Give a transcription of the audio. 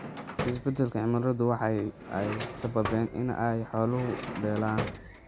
Isbeddelka cimiladu waxa ay sababaysaa in ay xoolo beelaan.